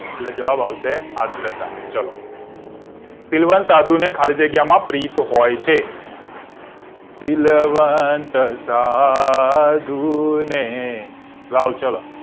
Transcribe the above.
એટલે જવાબ આવશે આગ્રતા શીલવંત સાધુને ખાલી જગ્યામાં પ્રીત હોય છે શીલવંત સાધુ ને ગાઓ ચલો